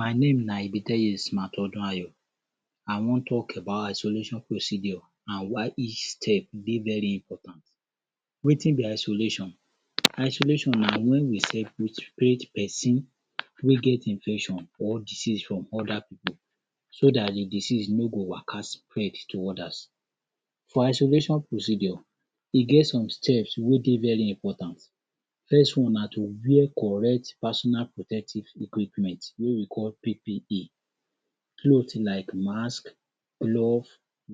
My name na Ibeteyes Madotuay? I wan talk about isolation procedure and why each step dey very important. Wetin be isolation, isolation na when you separate person wey get infection or disease from other pipu so dat de disease nor go waka spread to others for isolation procedure e get some steps wey dey very important. First one na to wear correct personal protective equipment wey we call PPE cloth like mask, glove,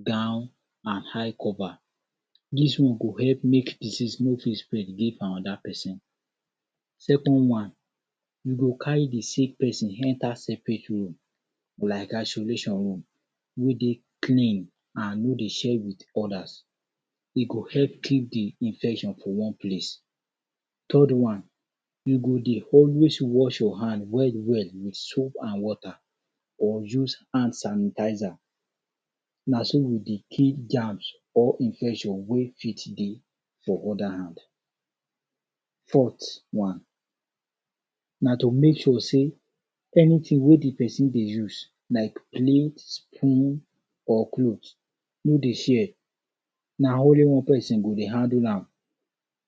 gown and eye cover dis one go help make disease no fit spread give another person. Second wan, you go carry de sick person enter room separate room like isolation room wey dey clean and e nor dey share with others e go he keep de infection to one place. Third wan, you go dey always wash hand well well with soap and water or use hand sanitizer na so we dey kill germs or infection wey fit dey for other hand. fourth wan, na to make sure sey anything wey de person dey use like plate, spoon or cloth nor dey share na only one person handle am,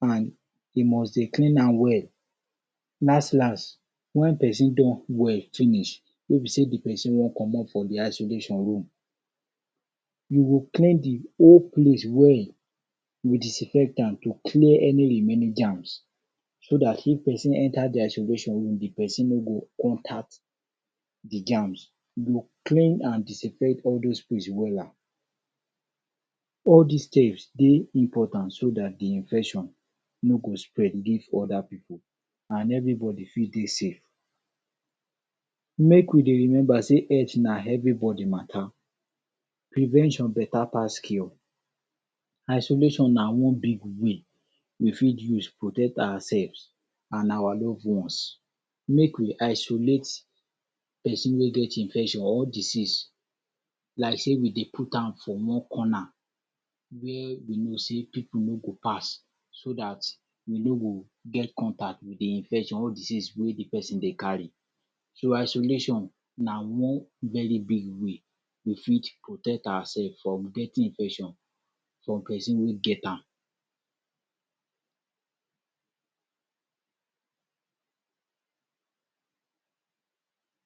and e must dey clean am well last last when person don well finish wey be say de person wan commot from de isolation room you go clear de whole place well you go disinfect am to clear any remaining germs so dat if person enter de isolation room de person nor go contact de germs e go clear and disinfect all those place wella all dis steps dey impotant so dat de infect nor go spread give other pipu and everybody fit dey safe make we dey remember sey health na everybody matter prevention better pass cure isolation na one big way we fit use proctect ourselves and our loved ones. Make we isolate person wey get infection or disease like sey we dey put am for wan corner where we know sey pipu nor go pass so dat you no go get contact with de infection or disease wey dey person dey carry. So isolation na one very big way we fit protect over self from getting infection from person wey get am.